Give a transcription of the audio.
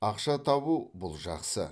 ақша табу бұл жақсы